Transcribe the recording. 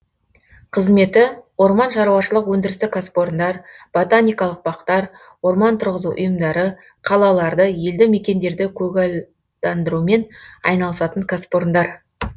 қызметі орман шаруашылық өндірістік кәсіпорындар ботаникалық бақтар орман тұрғызу ұйымдары қалаларды елді мекендерді көгалдандырумен айналысатын кәсіпорындар